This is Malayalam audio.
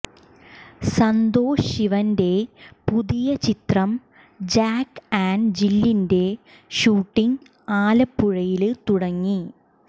സന്തോഷ് ശിവന്റെ പുതിയ ചിത്രം ജാക്ക് ആന്റ്് ജില്ലിന്റെ ഷൂട്ടിംഗ് ആലപ്പുഴയില് തുടങ്ങി